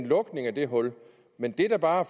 lukket det hul men det der bare